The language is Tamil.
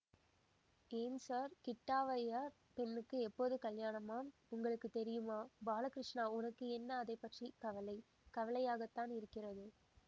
ஏன் ஸார் கிட்டாவய்யர் பெண்ணுக்கு எப்போது கல்யாணமாம் உங்களுக்கு தெரியுமா பாலகிருஷ்ணா உனக்கு என்ன அதைப்பற்றிக் கவலை கவலையாகத்தான் இருக்கிறது